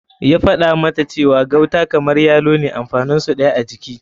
Ya faɗa mata cewa gauta kamar yalo ne amfanin su ɗaya a jiki.